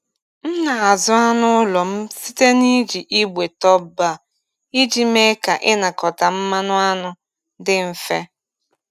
M na-azụ anụ n’ụlọ m site n’iji igbe top-bar iji mee ka ịnakọta mmanụ anụ dị mfe.